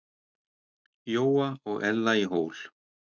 Jóa og Ella í Hól.